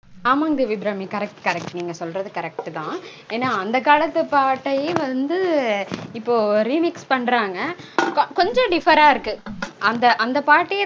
ஆமாங் Devi Abirami correct correct நீங்க சொல்ரது correct -தா. ஏன்னா அந்த காலத்து பாட்டையே வந்து இப்போ remix பண்றாங்க. கொஞ்சம் differ -ஆ இருக்கு. அந்த அந்த பாட்டையே